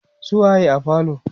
su waye a falo?